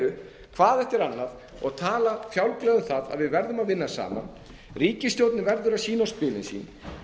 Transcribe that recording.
upp hvað eftir annað og tala fjálglega um það að við verðum að vinna saman ríkisstjórnin verður að sýna á spilin sín ef